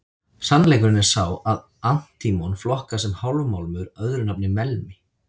Sannleikurinn er sá að antímon flokkast sem hálfmálmur, öðru nafni melmi.